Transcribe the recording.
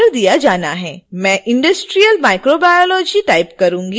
मैं industrial microbiology type करुँगी